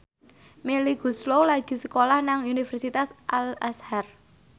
Melly Goeslaw lagi sekolah nang Universitas Al Azhar